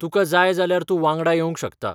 तुकां जाय जाल्यार तूं वांगडा येवंक शकता.